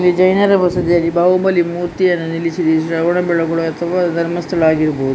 ಜೈನರ ಬಸಿದಿಯಲ್ಲಿ ಬಾಹುಬಲಿ ಮೂರ್ತಿಯನ್ನು ನಿಲ್ಲಿಸಿದೆ ಇದು ಶ್ರವಣ ಬೆಳಗೊಳ ಅಥವಾ ಧರ್ಮಸ್ಥಳ ಆಗಿರಬಹು --